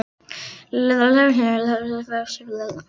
Við Leifur áttum nákvæmlega eins haglabyssur, þriggja skota pumpur.